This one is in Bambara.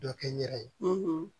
Dɔ kɛ n yɛrɛ ye